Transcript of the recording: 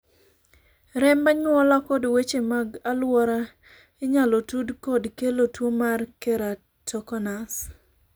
remb anyuola kod weche mag aluora inyalo tud kod kelo tuo mar keratokonus